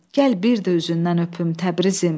Gəl bir də üzündən öpüm Təbrizim!